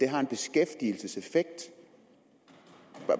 har en beskæftigelseseffekt